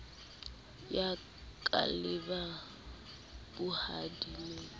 ya ka le ba bohading